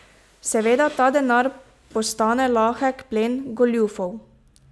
Seveda ta denar postane lahek plen goljufov.